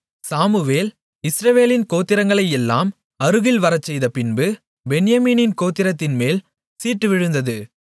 Samuel இஸ்ரவேலின் கோத்திரங்களையெல்லாம் அருகில் வரச்செய்தபின்பு பென்யமீனின் கோத்திரத்தின்மேல் சீட்டு விழுந்தது